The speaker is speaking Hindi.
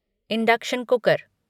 induction cooker